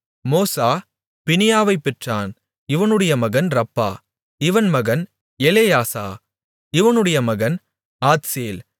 மோசா பினியாவைப் பெற்றான் இவனுடைய மகன் ரப்பா இவன் மகன் எலெயாசா இவனுடைய மகன் ஆத்சேல்